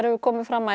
komið fram að